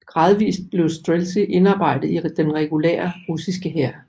Gradvist blev streltsy indarbejdet i den regulære russiske hær